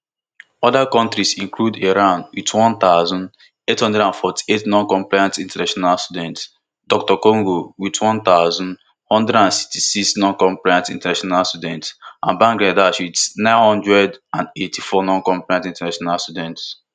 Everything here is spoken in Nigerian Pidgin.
oda kontris include iran wit one thousand, eight hundred and forty-eight noncompliant international students dr congo wit one thousand, one hundred and sixty-six noncompliant international students and bangladesh wit nine hundred and eighty-four noncompliant international students